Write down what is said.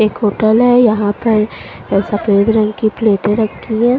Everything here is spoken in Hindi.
एक होटल है यहाँ पर ए सफ़ेद रंग की प्लेटे रखी है।